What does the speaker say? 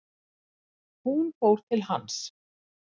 Hún fór til hans.